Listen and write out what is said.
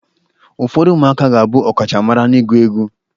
Ụfọdụ ụmụaka ga-abụ ọkachamara n'ịgụ egwu.